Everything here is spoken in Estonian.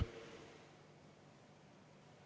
Kõnesoove ei ole, sulgen läbirääkimised.